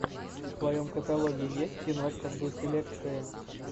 в твоем каталоге есть киношка в духе лекция